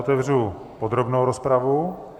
Otevřu podrobnou rozpravu.